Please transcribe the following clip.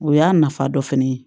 O y'a nafa dɔ fɛnɛ ye